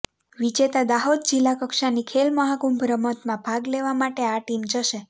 વિજેતા દાહોદ જિલ્લા કક્ષાની ખેલ મહાકુંભ રમતમાં ભાગ લેવા માટે આ ટીમ જશે